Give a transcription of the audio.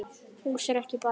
Hús er ekki bara hús.